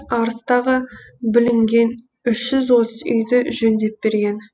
арыстағы бүлінген үш жүз отыз үйді жөндеп берген